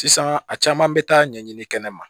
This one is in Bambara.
Sisan a caman bɛ taa ɲɛɲini kɛnɛ ma